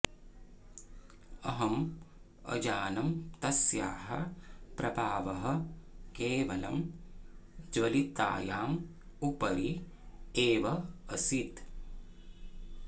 अहं अजानं तस्याः प्रभावः केवलं ज्वलितायाम् उपरि एव असीत्